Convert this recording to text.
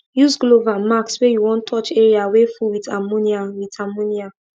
use glove and masks when you want touch area wey full with ammonia with ammonia